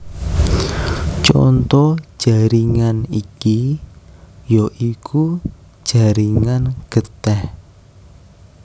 Conto jaringan iki ya iku jaringan getih